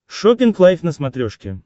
шоппинг лайв на смотрешке